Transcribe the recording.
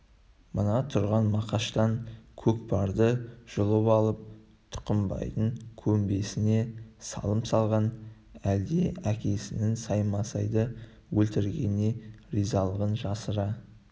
мына тұрған мақаштан көкпарды жұлып алып тұқымбайдың көмбесіне салым салған әлде әкесінің саймасайды өлтіргеніне ризалығын жасыра